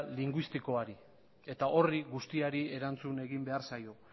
linguistikoari eta horri guztiari erantzun egin behar zaio